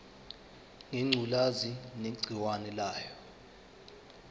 ngengculazi negciwane layo